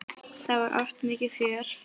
Það var oft mikið fjör.